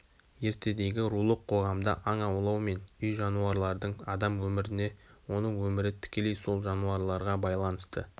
ертедегі рулық қоғамда аң аулау мен үй жануарлардың адам өміріне оның өмірі тікелей сол жануарларға байланысты